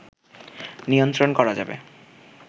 নিয়ন্ত্রণ করা যাবে